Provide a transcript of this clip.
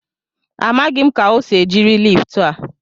Amaghị m ka o si jiri liftu a.